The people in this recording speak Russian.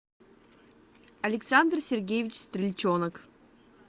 александр сергеевич стрельчонок